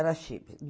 Era Chibli.